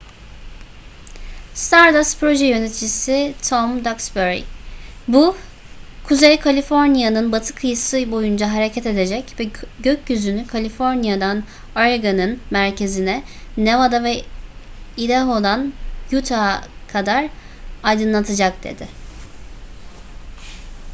stardust proje yöneticisi tom duxbury bu kuzey kaliforniya'nın batı kıyısı boyunca hareket edecek ve gökyüzünü kaliforniya'dan oregon'un merkezine nevada ve idaho'dan utah'a kadar aydınlatacak dedi